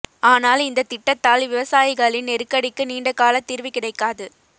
ஆனால் இந்தத் திட்டத்தால் விவசாயிகளின் நெருக்கடிக்கு நீண்ட கால தீர்வு கிடைக்காது